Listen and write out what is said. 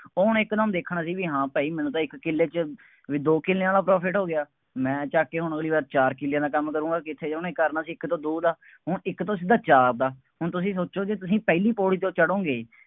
ਉਹਨੇ ਇੱਕ ਦਮ ਦੇਖਣਾ ਸੀ, ਬਈ ਹਾਂ ਭਾਈ ਮੈਨੂੰ ਤਾਂ ਇੱਕ ਕਿੱਲੇ ਚ, ਬਈ ਦੋ ਕਿੱਲਿਆਂ ਵਾਲਾ profit ਹੋ ਗਿਆ। ਮੈਂ ਚੱਕ ਕੇ ਹੁਣ ਅਗਲੀ ਵਾਰ ਚਾਰ ਕਿੱਲਿਆਂ ਦਾ ਕੰਮ ਕਰੂੰਗਾ, ਕਿੱਥੇ ਉਹਨੇ ਕਰਨਾ ਸੀ ਇੱਕ ਤੋਂ ਦੋ ਦਾ, ਹੁਣ ਇੱਕ ਤੋਂ ਸਿੱਧਾ ਚਾਰ ਦਾ, ਹੁਣ ਤੁਸੀਂ ਸੋਚੋਗੇ ਤੁਸੀਂ ਪਹਿਲੀ ਪੌੜੀ ਜਦੋਂ ਚੜ੍ਹੌਗੇ,